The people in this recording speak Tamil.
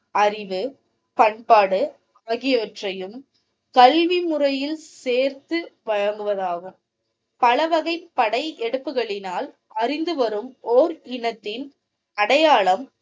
அறிவு பண்பாடு ஆகியவற்றையும் கல்விமுறையில் சேர்த்து வழங்குவதாகும் பலவகை படையெடுப்புகளினால் அறிந்துவரும் ஓர் இனத்தின் அடையாளம்.